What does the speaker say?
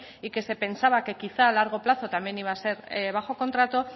y que se pensaba que quizá a largo plazo también iba a ser bajo contrato